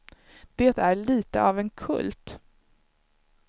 Det är lite av en kult.